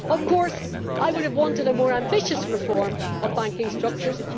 Of course I would have wanted a more ambitious reform of banking structures.